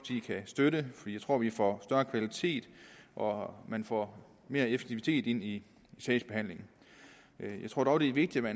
kan støtte jeg tror vi får større kvalitet og at man får mere effektivitet i sagsbehandlingen jeg tror dog det er vigtigt at